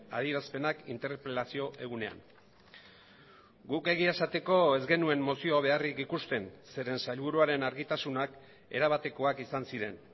adierazpenak interpelazio egunean guk egia esateko ez genuen mozio beharrik ikusten zeren sailburuaren argitasunak erabatekoak izan ziren